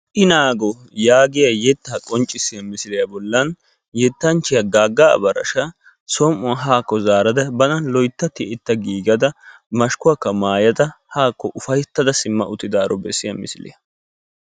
I naago yaagiya yetta qonccissiyaa misiliya bollan yettanchchiyaa Gaaga Abarashsha ba som''uwaaa haakko zaarada bana loytta tiyyeta giigiada mashkkuwakka maayada haakko ufayttada simma uttidaaro bessiya misiliyaa.